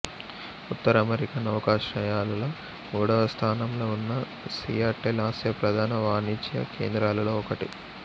ఉత్తర America నౌకాశ్రయాలలో మూడవస్థానంలో ఉన్న సియాటెల్ ఆసియా ప్రధాన వాణిజ్య కేంద్రాలలో ఒకటి